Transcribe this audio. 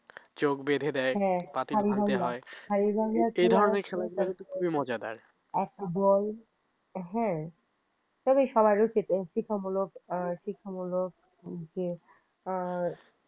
চোখ বেঁধে দেয় পাতিল ভাঙতে হয় এই ধরনের খেলাধুলা কিন্তু খুবই মজাদার একদম তবে হ্যাঁ সবার শিক্ষামূলক যে